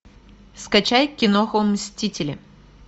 скачай киноху мстители